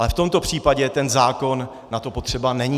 Ale v tomto případě ten zákon na to potřeba není.